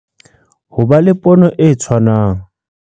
Ho ba le pono e tshwanang